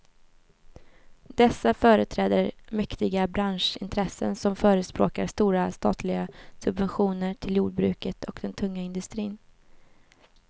Dessa företräder mäktiga branschintressen som förespråkar stora statliga subventioner till jordbruket och den tunga industrin.